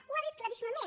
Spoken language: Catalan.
ho ha dit claríssimament